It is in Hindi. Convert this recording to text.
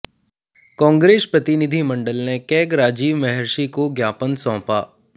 कांग्रेस प्रतिनिधिमंडल ने कैग राजीव महर्षि को ज्ञापन सौंपा